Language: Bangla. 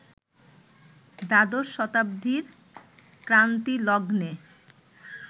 দ্বাদশ শতাব্দীর ক্রান্তিলগ্নে